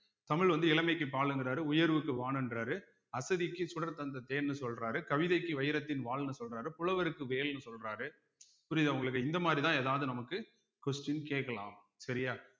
தமிழ் வந்து இளமைக்கு பாலுங்கிறாரு உயர்வுக்கு வானம்ன்றாரு அசதிக்கு சுடர் தந்த தேன்னு சொல்றாரு கவிதைக்கு வைரத்தின் வாள்ன்னு சொல்றாரு புலவருக்கு வேல்ன்னு சொல்றாரு புரியுதா உங்களுக்கு இந்த மாதிரிதான் எதாவது நமக்கு question கேட்கலாம் சரியா